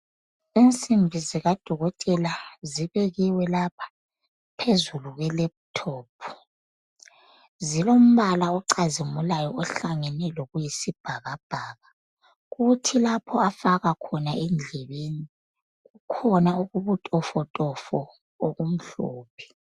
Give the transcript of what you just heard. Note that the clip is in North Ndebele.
Insimbi zikadokotela zibekiwe lapha phezulu kweleputopu. Zilombala ocazimulayo ohlangene lokuyisibhakabhaka. Kuthi lapho afaka khona endlebeni, kukhona okubutofotofo okumhlophe.